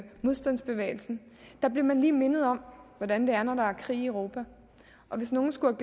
modstandsbevægelsen der blev man lige mindet om hvordan det er når der er krig i europa og hvis nogen skulle